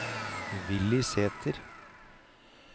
Villy Sæther